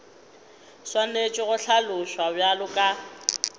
swanetše go hlaloswa bjalo ka